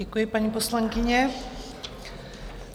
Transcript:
Děkuji, paní poslankyně.